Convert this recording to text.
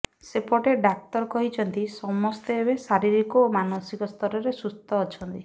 ସେପଟେ ଡାକ୍ତର କହିଛନ୍ତି ସମସ୍ତେ ଏବେ ଶାରୀରିକ ଓ ମାନସିକ ସ୍ତରରେ ସୁସ୍ଥ ଅଛନ୍ତି